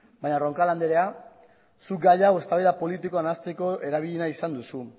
baina roncal andrea zuk gai hau eztabaida politikoa nahasteko erabili nahi izan duzu